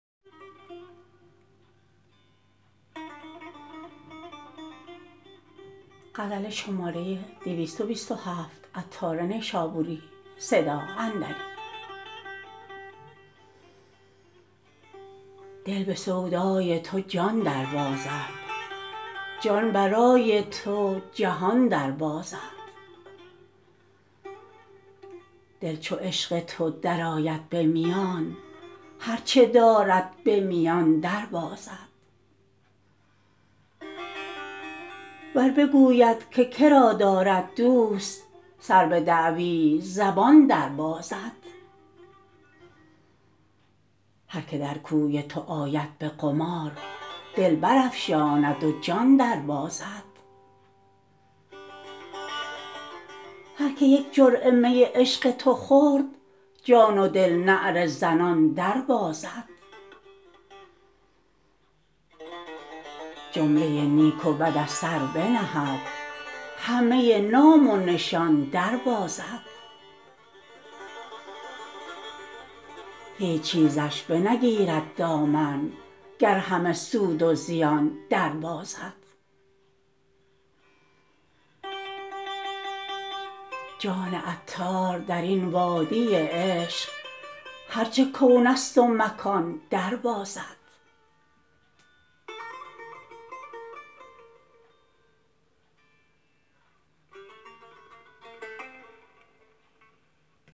دل به سودای تو جان در بازد جان برای تو جهان در بازد دل چو عشق تو درآید به میان هرچه دارد به میان در بازد ور بگوید که که را دارد دوست سر به دعوی زبان در بازد هر که در کوی تو آید به قمار دل برافشاند و جان در بازد هر که یک جرعه می عشق تو خورد جان و دل نعره زنان در بازد جمله نیک و بد از سر بنهد همه نام و نشان در بازد هیچ چیزش به نگیرد دامن گر همه سود و زیان در بازد جان عطار درین وادی عشق هر چه کون است و مکان در بازد